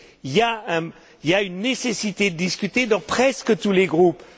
Il y a une nécessité de discuter dans presque tous les groupes.